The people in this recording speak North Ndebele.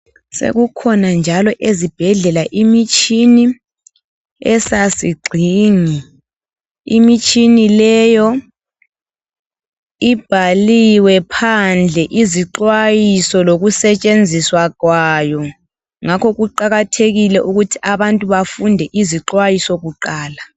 Sekukhona njalo ezibhedlela imitshini, esasigxingi. Imitshini leyo ibhaliwe phandle izixwayiso lokusetshenziswa kwayo. Ngakho kuqakathekile ukuthi abantu bafunde izixwayiso kuqala.